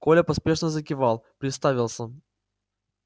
коля поспешно закивал представился